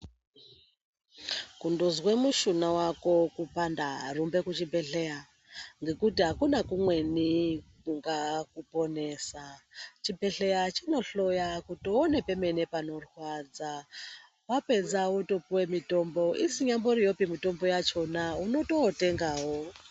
Kungozwa mushuna wako kupanda rumba kuzvibhedhlera ngekuti akuna kumweni kunga kuponesa chibhedhlera chinohloya kuti uone pemene panorwadza wapedza wopuwa mutombo isinyari mitombo yakona unototengawo.